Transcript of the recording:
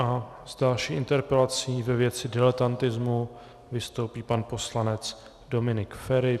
A s další interpelací ve věci diletantismu vystoupí pan poslanec Dominik Feri.